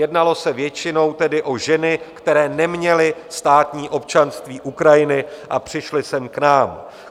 Jednalo se většinou tedy o ženy, které neměly státní občanství Ukrajiny a přišly sem k nám.